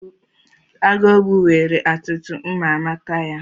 Agụogbu nwere atụtụ m amata ya.